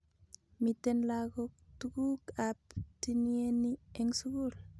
Miten lakok tukuk ab tinienii eng sukul.